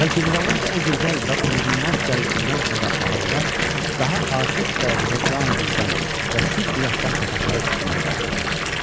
Və generalın o gözəl və unudulmaz gəlişindən sonra Ağadadaş daha artıq dərəcədə canı dildən və sidqi ürəkdən papaqları tikməyə başladı.